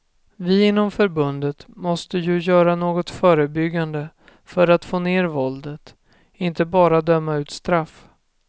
Vi inom förbundet måste ju göra något förebyggande för att få ner våldet, inte bara döma ut straff.